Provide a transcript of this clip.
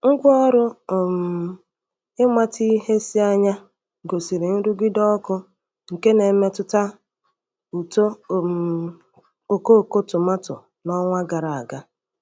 Ngwaọrụ um ịmata ihe si anya gosiri nrụgide ọkụ nke na-emetụta uto um okooko tomatọ n'ọnwa gara aga.